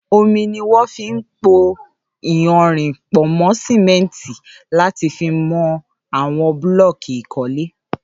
Ómi niwọn fi n pó iyànrín pọ̀ mọ simẹ̀ntí làtí fi mọ awọn blọ̀kí ikọ̀lè